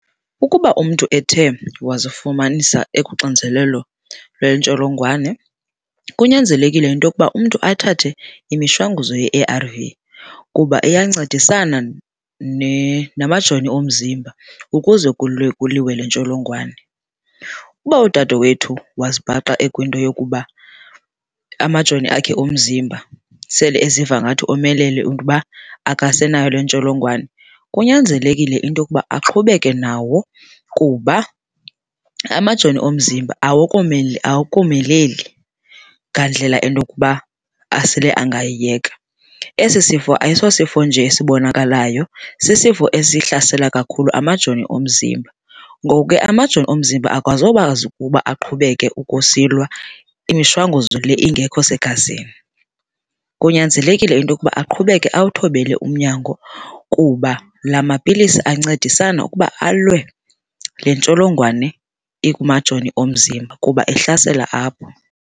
Ukuba umntu ethe wazifumanisa ekuxinzelelo lwentsholongwane, kunyanzelekile into yokuba umntu athathe imishwanguzo ye-A_R_V kuba iyancedisana namajoni omzimba ukuze kulwe kuliwe le ntsholongwane. Uba udadewethu wazibhaqa ekwinto yokuba amajoni akhe omzimba sele eziva ngathi omelele and uba akasenayo le ntsholongwane, kunyanzelekile into yokuba aqhubeke nawo kuba amajoni omzimba awakomeleli ngandlela enokuba asele angayiyeka. Esi sifo ayisosifo nje esibonakalayo, sisifo esihlasela kakhulu amajoni omzimba. Ngoku ke amajoni omzimba ukuba aqhubeke ukusilwa imishwanguzo le ingekho segazini. Kunyanzelekile into yokuba aqhubeke awuthobele umnyango kuba la mapilisi ancedisana ukuba alwe le ntsholongwane ikumajoni omzimba kuba ihlasela apho.